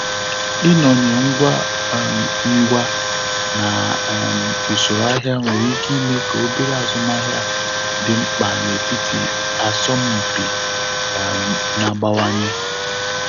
Ịnọnye ngwa um ngwa na um usoro ahịa nwere ike ime ka obere azụmahịa dị mkpa n'etiti asọmpị um na-agbanwanye.